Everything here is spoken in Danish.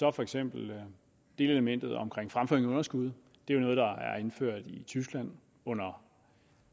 at for eksempel delelementet omkring fremføring af underskud er noget der er indført i tyskland under